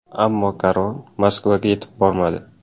Ammo karvon Moskvaga yetib bormadi.